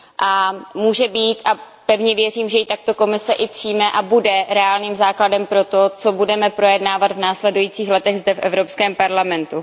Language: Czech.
a pevně věřím, že ji takto Komise i přijme a bude reálným základem pro to, co budeme projednávat v následujících letech zde v Evropském parlamentu.